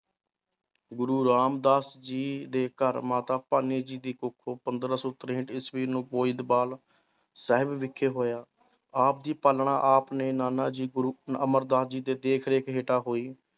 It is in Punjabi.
ਗੁਰੂ ਰਾਮਦਾਸ ਜੀ ਦੇ ਘਰ ਮਾਤਾ ਭਾਨੀ ਜੀ ਦੀ ਕੁੱਖੋਂ ਪੰਦਰਾਂ ਸੌ ਤਰੇਹਠ ਈਸਵੀ ਨੂੰ ਗੋਇੰਦਵਾਲ ਸਾਹਿਬ ਵਿਖੇ ਹੋਇਆ ਆਪ ਦੀ ਪਾਲਣਾ, ਆਪ ਨੇ ਨਾਨਾ ਜੀ ਗੁਰੂ ਅਮਰਦਾਸ ਜੀ ਦੇ ਦੇਖ ਰੇਖ ਹੇਠਾਂ ਹੋਈ